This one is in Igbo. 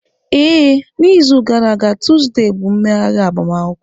Ee, n'izu gara aga tuzdee bụ mmeghari agbamakwụkwọ.